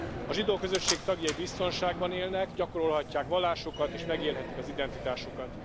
A zsidó közösség tagjai biztonságban élnek, gyakorolhatják vallásukat és megélhetik az identitásukat.